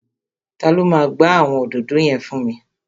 Ta ló máa gba àwọn òdòdó yẹn fún mi?